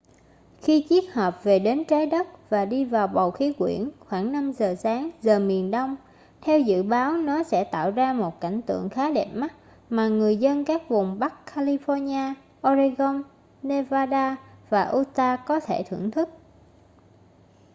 khi chiếc hộp về đến trái đất và đi vào bầu khí quyển khoảng 5 giờ sáng giờ miền đông theo dự báo nó sẽ tạo ra một cảnh tượng khá đẹp mắt mà người dân các vùng bắc california oregon nevada và utah có thể thưởng thức